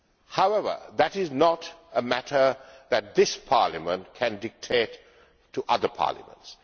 However, that is not a matter that this Parliament can dictate to other parliaments.